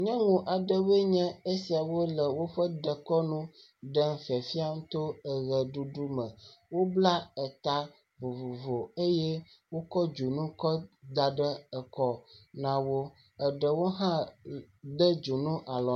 Nyɔnu aɖewoe nye esia le woƒe dekɔnu ɖem fiafiam to eʋeɖuɖu me. Wobla eta vovovo eye wokɔ dzonu kɔ da ɖe ekɔ na wo, eɖewo hã de dzonu alɔ..